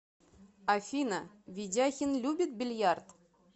афина ведяхин любит бильярд